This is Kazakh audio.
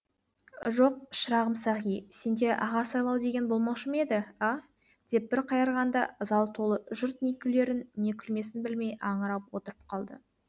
жоқ шырағым сағи сенде аға сыйлау деген болмаушы ма еді а деп бір қайырғанда зал толы жұрт не күлерін не күлмесін білмей аңырып отырып қалды